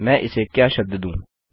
मैं इसे क्या शब्द दूँ